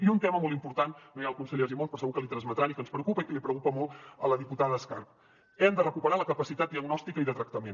i un tema molt important no hi ha el conseller argimon però segur que l’hi transmetran i que ens preocupa i que li preocupa molt a la diputada escarp hem de recuperar la capacitat diagnòstica i de tractament